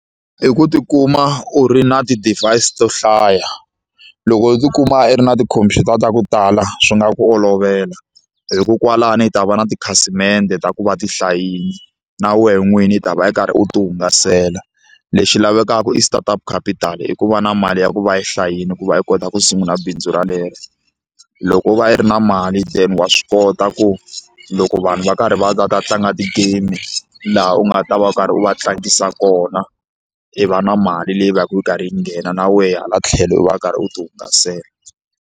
I ku tikuma u ri na ti-device to hlaya loko u tikuma u ri na tikhompyuta ta ku tala swi nga ku olovela hikuva kwalani i ta va na tikhasimende ta ku va ti hlayile na wena n'wini u ta va u karhi u ti hungasela lexi lavekaka i start up capital i ku va na mali ya ku va yi hlayile ku va i kota ku sungula bindzu rolero loko wo va yi ri na mali then wa swi kota ku loko vanhu va karhi va ta ta tlanga ti-game laha u nga ta va u karhi u va tlangisa kona i va na mali leyi vaka yi karhi yi nghena na wehe hala tlhelo u va u karhi u ti hungasela.